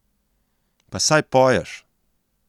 Pa saj poješ!